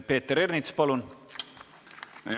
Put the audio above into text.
Peeter Ernits, palun!